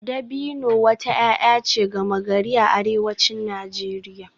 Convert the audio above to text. Dabino wata 'ya'ya ce gama-gari a arewacin Najeriya